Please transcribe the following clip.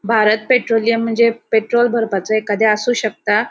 Bharat Petroleum म्हणजे petrol भरपाचे एखादे आसु शकता.